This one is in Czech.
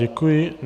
Děkuji.